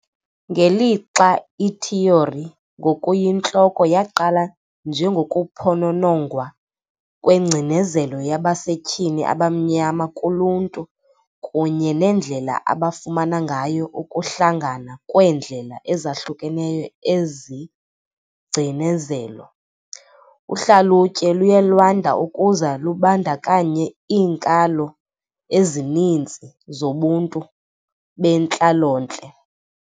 Ngelixa ithiyori ngokuyintloko yaqala njengokuphononongwa kwengcinezelo yabasetyhini abamnyama kuluntu kunye neendlela abafumana ngayo ukuhlangana kweendlela ezahlukeneyo ezingcinezelo, uhlalutyo luye lwanda ukuze lubandakanye iinkalo ezininzi zobuntu bentlalontle.